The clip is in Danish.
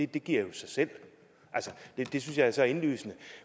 det giver jo sig selv det synes jeg er så indlysende